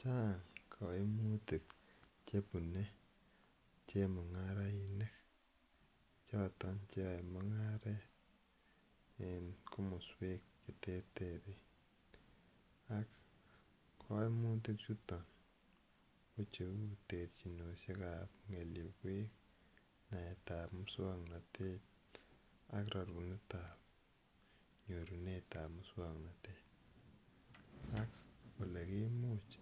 Chang' kimutik che pune chemung'arainik choton che yae mung'aret en komaswek che terterchin. Ak kaimitichuton ke cheu terchinoshek ap ng'eliepwek, naet ap muswoknotet ak rerunet ap nyorunet ap muswoknotet ak ole kimuch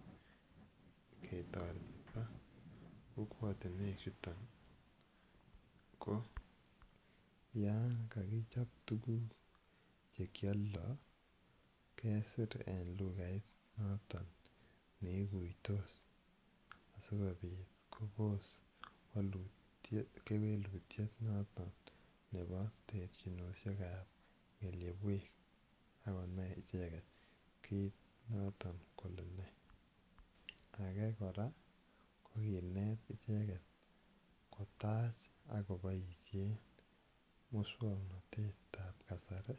ketaretita kokwatunwek chuton. Ko yan kakichop tuguk che kialdai, kesri en lugait noton ne iguitos asikopot kopos kewelutiet noton nepo terchinoshek ap ng'eliepwek ako nai icheget kiit notok kole nee. Age kora ko kinet icheget kotach ak kopaishe muswoknotet ap kasari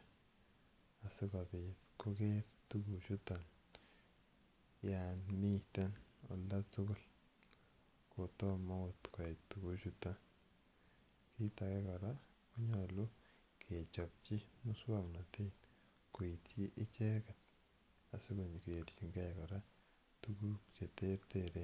asikopit koker tuguchuton yan miten olda tugul kotoma agot koyai tuguchuton. Kiit age kora ko nyalu kechopchi muswoknotet koitchi icheget asiko kerchingei kora tuguk che terteren.